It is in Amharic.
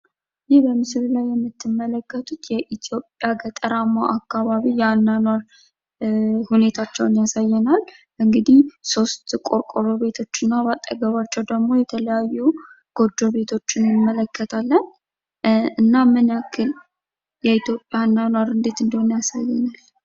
ይህ በምስል የምትመለከቱት የኢትዮጵያ የገጠር አካባቢ የአኗኗር ሁኔታቸውን ያሳየናል ። ሶስት ቆርቆሮ ቤቶች በአጠገባቸው ደሞ የተለያዩ ጎጆ ቤቶችን አንመለከታለን እና ምን ያህል የኢትዮጵያ እንዴት እንደሆነ ያሳየናል።